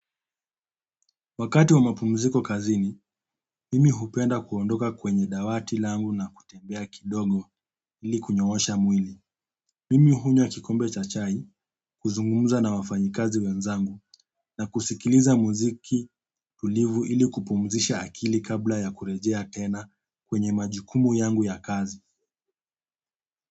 Wakati wa mapumziko kazini, mimi hupenda kuondoka kwenye dawati langu na kutembea kidogo ili kunyoosha mwili. Mimi hunywa kikombe cha chai, kuzungumza na wafanyikazi wenzangu na kusikiliza muziki tulivu ili kupumzisha akili kabla ya kurejea tena kwenye majukumu yangu ya kazi.